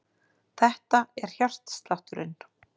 Þetta er hjartslátturinn.